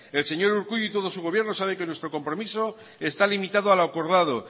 el señor urkullu y todo su gobierno sabe que nuestro compromiso está limitado a lo acordado